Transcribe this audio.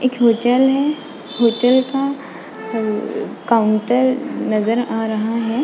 एक hotel hotel का counter नजर आ रहा है।